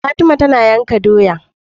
Fatima tana yanka doya